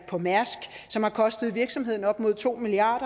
på mærsk som har kostet virksomheden op mod to milliard